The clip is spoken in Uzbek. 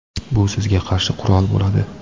bu sizga qarshi qurol bo‘ladi.